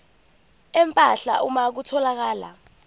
empahla uma kutholakala